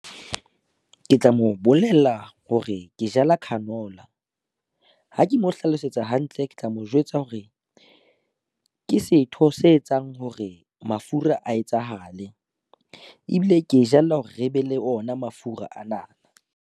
Ke tla mo bolella hore ke jala canola. Ha ke mo hlalosetsa hantle, ke tla mo jwetsa hore ke setho se etsang hore mafura a etsahale ebile ke e jalla hore re be le ona mafura ana.